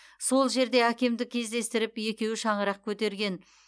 сол жерде әкемді кездестіріп екеуі шаңырақ көтерген